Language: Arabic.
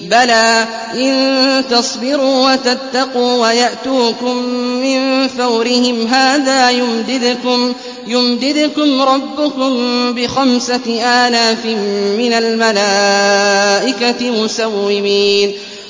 بَلَىٰ ۚ إِن تَصْبِرُوا وَتَتَّقُوا وَيَأْتُوكُم مِّن فَوْرِهِمْ هَٰذَا يُمْدِدْكُمْ رَبُّكُم بِخَمْسَةِ آلَافٍ مِّنَ الْمَلَائِكَةِ مُسَوِّمِينَ